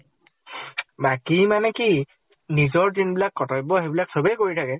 বাকী মানে কি নিজৰ যিন বিলাক কৰ্ত্তব্য সেই বিলাক চবে কৰি থাকে।